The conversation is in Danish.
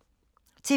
TV 2